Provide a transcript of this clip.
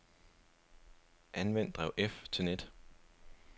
Anvend drev F til net.